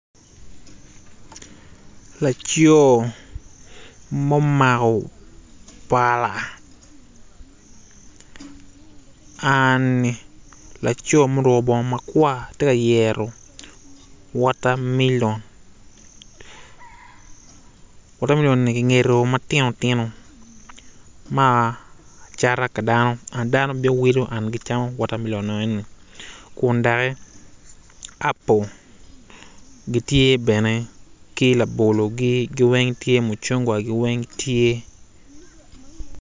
Laco momako pala ani laco ma oruko bongo makwar tye ka yero watermelon, watermelon ni kingido matinotino macata ki dano an dano bino kiwilo and gicamo watermelon enoni kun doki apple gitye bene ki labologi weng ki mucungwagi weng tye.